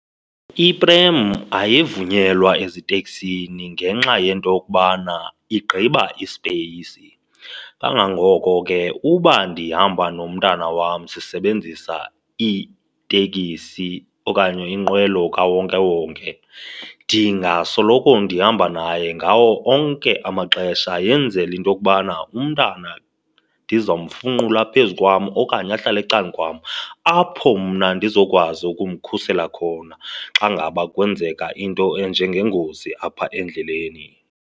Iprem ayivunyelwa eziteksini ngenxa yento yokokubana igqiba isipeyisi. Kangangoko ke uba ndihamba nomntana wam sisebenzisa itekisi okanye iinqwelo kawonkewonke, ndingasoloko ndihamba naye ngawo onke amaxesha yenzela into yokubana umntana ndizomfunqula apha phezu kwam okanye ahlale ecan'kwam apho mna ndizokwazi ukumkhusela khona xa ngaba kwenzeka into enjengengozi apha endleleni.